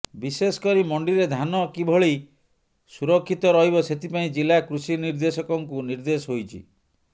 ବିଶେଷ କରି ମଣ୍ଡିରେ ଧାନ କିଭଳି ସୁରକ୍ଷିତ ରହିବ ସେଥିପାଇଁ ଜିଲା କୃଷି ନିର୍ଦ୍ଦେଶକଙ୍କୁ ନିର୍ଦ୍ଦେଶ ହୋଇଛି